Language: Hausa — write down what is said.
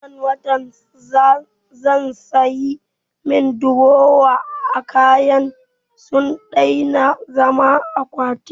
A wannan watan zan sa ayi min durowa, kayana sun daina zaman akwati